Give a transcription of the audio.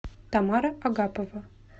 тамара агапова